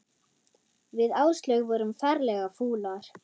Við Áslaug vorum ferlega fúlar.